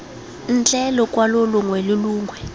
ntle lokwalo longwe le longwe